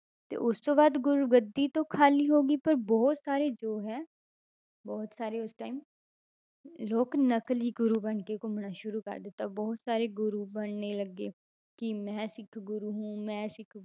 ਤੇ ਉਸ ਤੋਂ ਬਾਅਦ ਗੁਰੂਗੱਦੀ ਤਾਂ ਖਾਲੀ ਹੋ ਗਈ ਪਰ ਬਹੁਤ ਸਾਰੇ ਜੋ ਹੈ ਬਹੁਤ ਸਾਰੇ ਉਸ time ਲੋਕ ਨਕਲੀ ਗੁਰੂ ਬਣਕੇ ਘੁੰਮਣਾ ਸ਼ੁਰੂ ਕਰ ਦਿੱਤਾ ਬਹੁਤ ਸਾਰੇ ਗੁਰੂ ਬਣਨੇ ਲੱਗੇ, ਕੀ ਮੈਂ ਸਿੱਖ ਗੁਰੂ ਹੂੰ ਮੈਂ ਸਿੱਖ